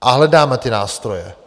A hledáme ty nástroje.